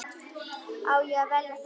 Á ég að velja það?